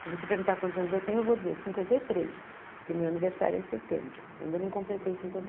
Se você perguntar quantos anos eu tenho, eu vou dizer cinquenta e três, porque o meu aniversário é em setembro, eu ainda não completei cinquenta e.